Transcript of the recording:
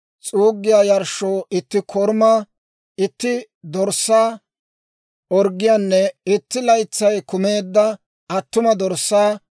s'uuggiyaa yarshshoo itti korumaa, itti dorssaa orggiyaanne, itti laytsay kumeedda attuma dorssaa;